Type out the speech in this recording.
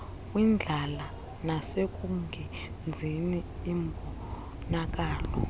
kwindlala nasekungenzini imbonakalo